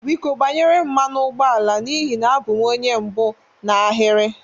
Biko gbanyere m mmanụ ụgbọ ala n'ihi na abụ m onye mbụ n'ahịrị.